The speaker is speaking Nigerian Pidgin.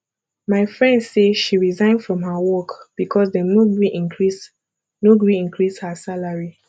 my friend say she resign from her work because dem no gree increase no gree increase her salary